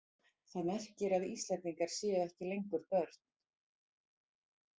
Það merkir að Íslendingar séu ekki lengur börn.